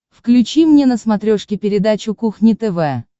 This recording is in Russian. включи мне на смотрешке передачу кухня тв